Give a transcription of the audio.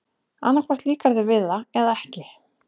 Annað hvort líkar þér við það eða ekki.